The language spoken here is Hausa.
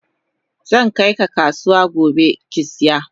Zankai ka kasuwa gobe kisiya.